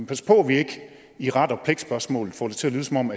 passe på at vi ikke i ret og pligt spørgsmålet får det til at lyde som om